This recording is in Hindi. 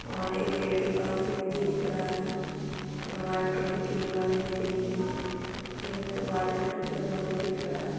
और एक गेट के पास व्यक्ति दिख रहा है और व्हाइट कलर की दीवाले दिख रही है एक दीवा-- व्हाइट कलर का दरवाजा दिख रहा है।